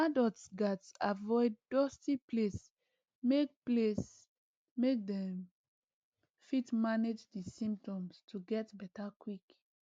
adults gatz avoid dusty place make place make dem fit manage di symptoms to get beta quick